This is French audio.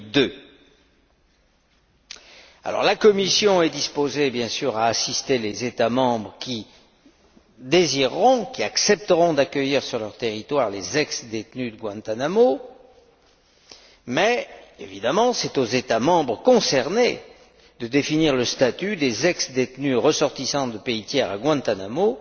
en 2002. La Commission est disposée, bien sûr, à assister les États membres qui accepteront d'accueillir sur leur territoire les ex détenus de Guantánamo mais, évidemment, c'est aux États membres concernés de définir le statut des ex détenus ressortissants de pays tiers à Guantánamo